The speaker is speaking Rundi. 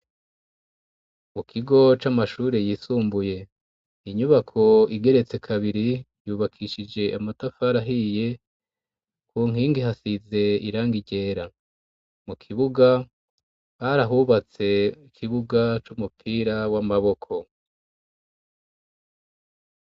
mu kigo c'amashuri yisumbuye inyubako igeretse kabiri yubakishije amatafar ahiye ku nkingi hasize irang igera mu kibuga barahubatse ikibuga c'umupira w'amaboko